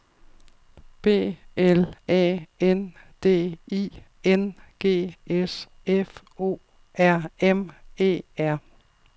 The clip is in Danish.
B L A N D I N G S F O R M E R